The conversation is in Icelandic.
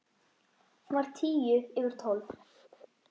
Hún var tíu yfir tólf.